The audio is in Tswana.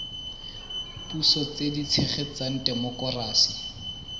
puso tse di tshegetsang temokerasi